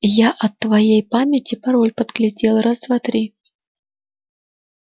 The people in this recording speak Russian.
я от твоей памяти пароль подглядел раз-два-три